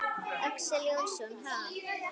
Axel Jónsson: Ha?